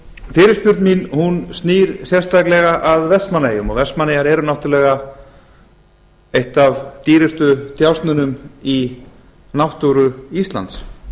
fyrirspurn mín snýr sérstaklega að vestmannaeyjum og vestmannaeyjar eru náttúrulega ein af dýrustu djásnunum í náttúru íslands